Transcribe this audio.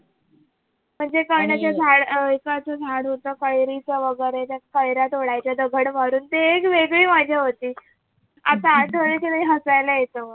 म्हणजे झाड होत कैरीच वैगरे त कैऱ्या तोडायच्या दगड मारून वैगरे ते एक वेगळी मजा होती आता आठवण येते तरी हसायला येत